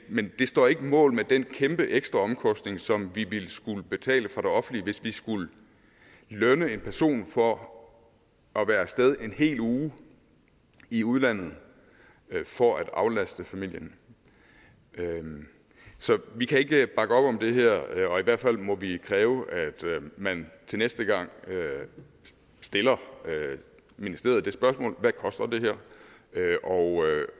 men det står ikke mål med den kæmpe ekstra omkostning som det offentlige ville skulle betale hvis vi skulle lønne en person for at være af sted en hel uge i udlandet for at aflaste familien så vi kan ikke bakke op om det her og i hvert fald må vi kræve at man til næste gang stiller ministeriet det spørgsmål hvad koster det her